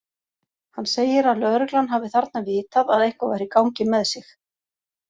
Hann segir að lögreglan hafi þarna vitað að eitthvað væri í gangi með sig.